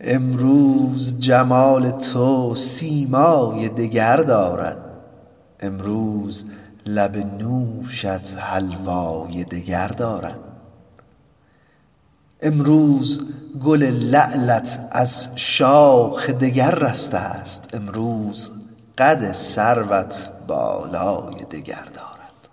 امروز جمال تو سیمای دگر دارد امروز لب نوشت حلوای دگر دارد امروز گل لعلت از شاخ دگر رسته ست امروز قد سروت بالای دگر دارد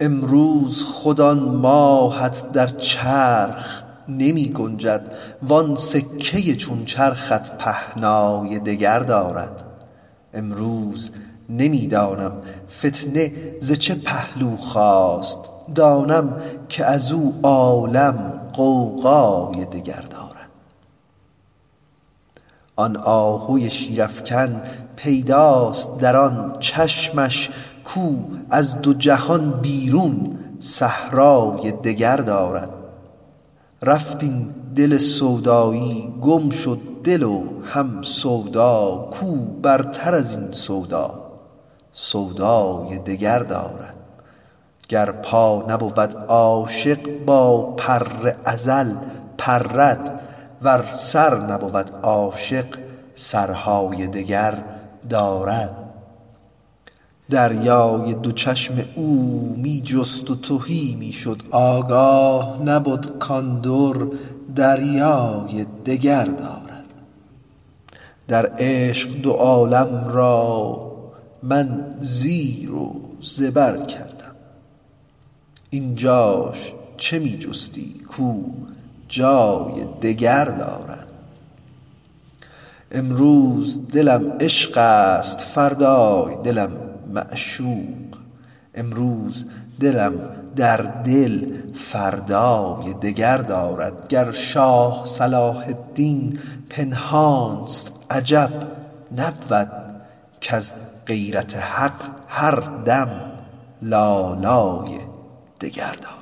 امروز خود آن ماهت در چرخ نمی گنجد وان سکه ی چون چرخت پهنای دگر دارد امروز نمی دانم فتنه ز چه پهلو خاست دانم که از او عالم غوغای دگر دارد آن آهو شیرافکن پیداست در آن چشمش کاو از دو جهان بیرون صحرای دگر دارد رفت این دل سودایی گم شد دل و هم سودا کاو برتر از این سودا سودای دگر دارد گر پا نبود عاشق با پر ازل پرد ور سر نبود عاشق سرهای دگر دارد دریای دو چشم او را می جست و تهی می شد آگاه نبد کان در دریای دگر دارد در عشق دو عالم را من زیر و زبر کردم این جاش چه می جستی کاو جای دگر دارد امروز دلم عشقست فردای دلم معشوق امروز دلم در دل فردای دگر دارد گر شاه صلاح الدین پنهانست عجب نبود کز غیرت حق هر دم لالای دگر دارد